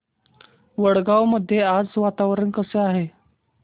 वडगाव मध्ये आज वातावरण कसे आहे